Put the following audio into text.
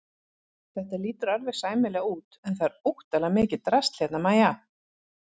Þetta lítur alveg sæmilega út en það er óttalega mikið drasl hérna MÆJA!